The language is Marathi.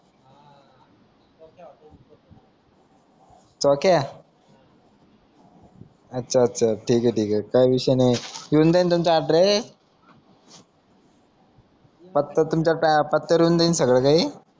चोकीया अच्छा अच्छा ठिके ठीके काई विषय नाय पत्ता तुमच्या त्या